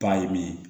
Ba ye min ye